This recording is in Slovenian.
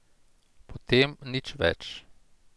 Potem nič več.